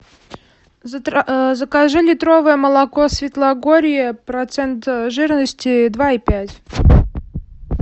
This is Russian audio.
закажи литровое молоко светлогорье процент жирности два и пять